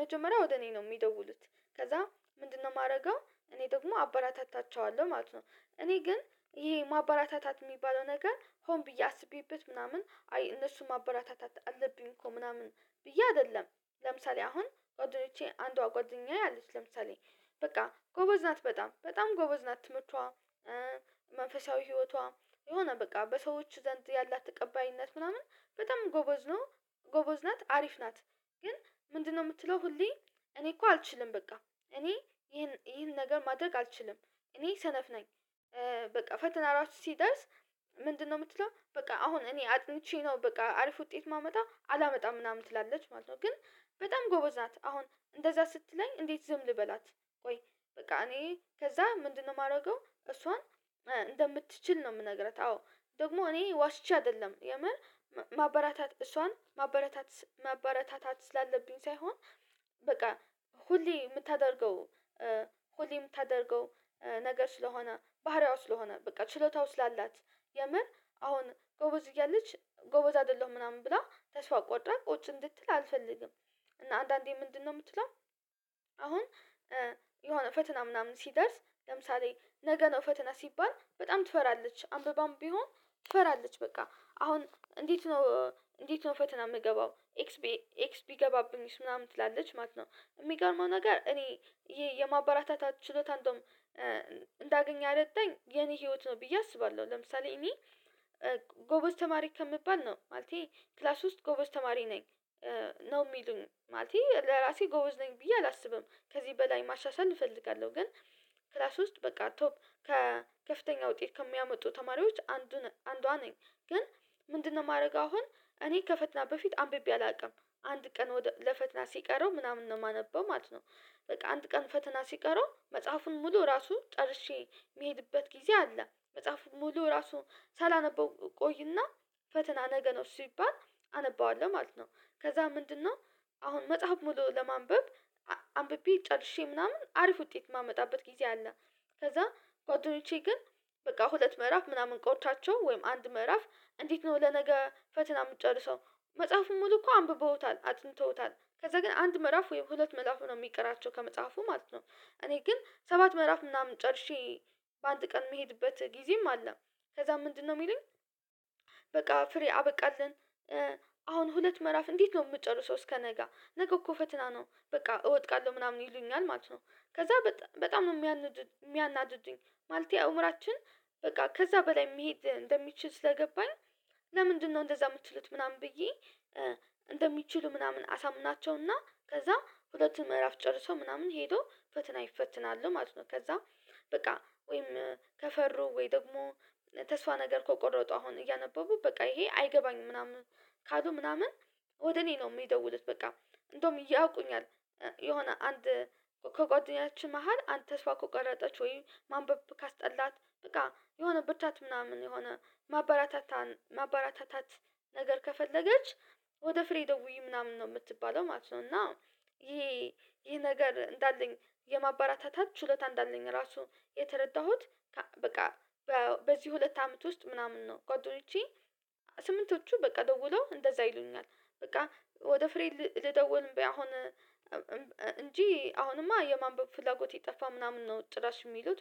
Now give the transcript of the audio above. መጀመሪያ ወደ እኔ ነው የሚደውሉት። ከዛ ምንድነው የማረገው እኔ ደግሞ አበራታታቸዋለሁ ማለት ነው። እኔ ግን ይሄ ማባራታታት የሚባለው ነገር ሆን ብዬ አስቤበት ምናምን አይ እነሱን ማበረታታት አለብኝ እኮ ምናምን ብዬ አይደለም። ለምሳሌ አሁን ጓደኞቼ አንዷ ጓደኛዬ አለች ለምሳሌ በቃ ጎበዝ ናት በጣም በጣም ጎበዝ ናት ትምህርቷ። መንፈሳዊ ህይወቷ የሆነ በቃ በሰዎች ዘንድ ያላት ተቀባይነት ምናምን በጣም ጎበዝ ነው። ጎበዝ ናት አሪፍ ናት። ግን ምንድነው የምትለው? ሁሌ እኔ እኮ አልችልም በቃ እኔ ይሄን ይሄን ነገር ማድረግ አልችልም እኔ ሰነፍ ነኝ። በቃ ፈተና ራሱ ሲደርስ ምንድነው የምትለው? በቃ አሁን እኔ አጥንቼ ነው በቃ አሪፍ ውጤት ማመጣ አላመጣም ምናምን ትላለች ማለት ነው። ግን በጣም ጎበዝ ናት አሁን እንደዛ ስትለኝ እንዴት ዝም ልበላት? ቆይ በቃ እኔ ከዛ ምንድነው የማረገው? እሷን እንደምትችል ነው የምነግራት። አዎ ደግሞ እኔ ዋሽቼ አይደለም የምር ማበራታት እሷን ማበረታት ማበረታታት ስላለብኝ ሳይሆን። በቃ ሁሌ የምታደርገው ሆሌ የምታደርገው ነገር ስለሆነ ባህሪዋ ስለሆነ በቃ ችሎታው ስላላት የምር አሁን ጎበዝ እያለች ጎበዝ አይደለሁም ምናምን ብላ ተስፋ ቆርጣ ቁጭ እንድትል አልፈልግም። እና አንዳንዴ ምንድነው የምትለው? አሁን የሆነ ፈተና ምናምን ሲደርስ ለምሳሌ ነገ ነው ፈተና ሲባል በጣም ትፈራለች አንብባም ቢሆን ትፈራለች በቃ አሁን እንዴት ነው እንዴት ነው ፈተና የምገባው ኤክስ ኤክስ ቢገባብኝስ ምናምን ትላለች ማለት ነው። የሚገርመው ነገር እኔ ይሄ የማበረታታት ችሎታ እንደውም እንዳገኝ ያረዳኝ የኔ ህይወት ነው ብዬ አስባለሁ። ለምሳሌ እኔ ጎበዝ ተማሪ ከምባል ነው ማለቴ ክላስ ውስጥ ጎበዝ ተማሪ ነኝ። ነው የሚሉኝ ማለቴ ለራሴ ጎበዝ ነኝ ብዬ አላስብም ከዚህ በላይ ማሻሻል እፈልጋለሁ ግን። ክላስ ውስጥ በቃ ቶፕ ከ ከፍተኛ ውጤት ከሚያመጡ ተማሪዎች አንዱን አንዷ ነኝ። ግን ምንድነው የማረገው? አሁን እኔ ከፈትና በፊት አንብቤ አላውቅም አንድ ቀን ለፈተና ሲቀረው ምናምን ነው የማነበው ማለት ነው። በቃ አንድ ቀን ፈትና ሲቀረው መጽሐፉን ሙሉ ራሱ ጨርሼ የሚሄድበት ጊዜ አለ መጽሐፉ ሙሉ ራሱ ሳላነበው እቆይና ፈተና ነገ ነው ሲባል አነባዋለሁ ማለት ነው። ከዛ ምንድነው? አሁን መጽሐፍ ሙሉ ለማንበብ አንብቤ ጨርሼ ምናምን አሪፍ ውጤት የማመጣበት ጊዜ አለ። ከዛ ጓደኞቼ ግን በቃ ሁለት ምዕራፍ ምናምን ቆርቷቸው ወይም አንድ ምዕራፍ እንዴት ነው ለነገ ፈተና የምጨርሰው? መጽሐፉን ሙሉ እኮ አንብበውታል አጥንተውታል ከዛ ግን አንድ ምዕራፍ ወይም ሁለት ምእላፉ ነው የሚቀራቸው ከመጽሐፉ ማለት ነው። እኔ ግን ሰባት ምዕራፍ ምናምን ጨርሼ በአንድ ቀን የምሄድበት ጊዜም አለ። ከዛ ምንድነው ሚሉኝ? በቃ ፍሬ አበቃልን። አሁን ሁለት ምዕራፍ እንዴት ነው የምጨርሰው? እስከነገ ነገ እኮ ፈተና ነው በቃ እወድቃለሁ ምናምን ይሉኛል ማለት ነው። ከዛ በጣም ነው የሚያናድድኝ። ማለቴ አእምሯችን በቃ ከዛ በላይ መሄድ እንደሚችል ስለገባኝ። ለምንድነው እንደዛ የምትሉት ምናምን ብዬ። እንደሚችሉ ምናምን አሳምናቸውና ከዛ ሁለቱን ምዕራፍ ጨርሶ ምናምን ሄዶ ፈተና ይፈተናሉ ማለት ነው። ከዛ። በቃ ወይም ከፈሩ ወይ ደግሞ ተስፋ ነገር ከቆረጡ አሁን እያነበቡ በቃ ይሄ አይገባኝም ምናምን ካሉ ምናምን ወደ እኔ ነው የሚደውሉት። በቃ እንደውም ያውቁኛል። የሆነ አንድ ከጓደኛችን መሃል አንድ ተስፋ ከቆረጠች ወይም ማንበብ ካስጠላት በቃ የሆነ ብርታት ምናምን የሆነ ማበራታታን ማበረታታት ነገር ከፈለገች። ወደ ፍሬ ደውይ ምናምን ነው የምትባለው ማለት ነው። እና ይሄ ይሄ ነገር እንዳለኝ የማባራታታት ችሎታ እንዳለኝ ራሱ የተረዳሁት። በቃ በዚህ ሁለት አመት ውስጥ ምናምን ነው ጓደኞቼ ስምንቶቹ በቃ ደውለው እንደዛ ይሉኛል። በቃ ወደ ፍሬ ልደውል አሁን። እንጂ አሁንማ የማንበብ ፍላጎቴ ጠፋ ምናምን ነው ጭራሽ የሚሉት